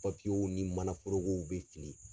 Papiyew ni mana forogow bɛ fili